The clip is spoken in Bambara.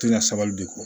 Tɛ na sabali de kɔ